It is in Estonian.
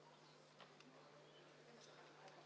Proteste ei ole.